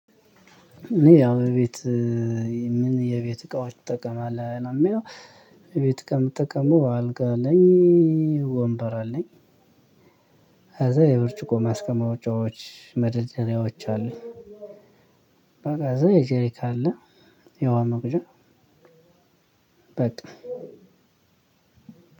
እኔ ያው ቤት ምን የቤት እቃዎች ትጠቀማለህ ነው የሚለው? የቤት እቃ የምጠቀመው አልጋ አለኝ ወንበር አለኝ ከዛ የብርጭቆ ማስቀመጫዎች መደርደሪያዎች አለኝ። በቃ ዘይት ጄሪካ አለ። የውሃ መቅጃ በቃ